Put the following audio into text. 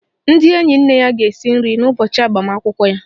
Ndị enyi nne ya ga-esi nri n' ụbọchị agbamakwụkwọ ya.